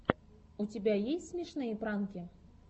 у тебя есть смешные пранки